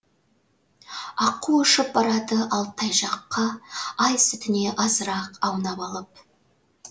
аққу ұшып барады алтай жаққа ай сүтіне азырақ аунап алып